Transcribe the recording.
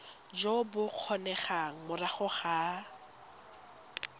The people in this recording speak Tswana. jo bo kgonegang morago ga